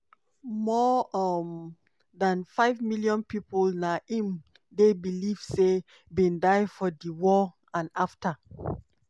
more um dan five million pipo na im dey believed say bin die for di war and afta.